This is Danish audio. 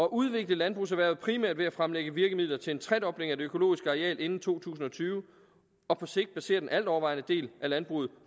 udvikle landbrugserhvervet primært ved at fremlægge virkemidler til en tredobling af det økologiske areal inden to tusind og tyve og på sigt basere den altovervejende del af landbruget